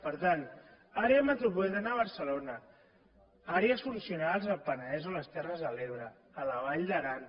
per tant àrea metropolitana de barcelona àrees funcionals del penedès o les terres de l’ebre a la vall d’aran